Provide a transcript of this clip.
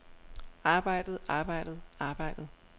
arbejdet arbejdet arbejdet